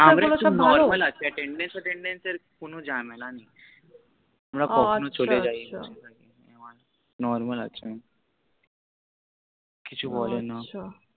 ভালো তা বল normal আছে Attendence Fetendence এর কোন ঝেমেলা নেই আমার কখনো চলে যায় আছা normal আছে কিছু বলে না